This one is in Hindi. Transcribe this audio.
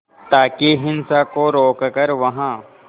ताकि हिंसा को रोक कर वहां